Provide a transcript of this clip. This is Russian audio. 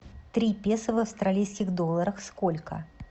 три песо в австралийских долларах сколько